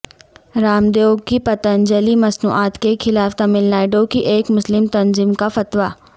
رام دیو کی پتنجلی مصنوعات کے خلاف تمل ناڈو کی ایک مسلم تنظیم کا فتوی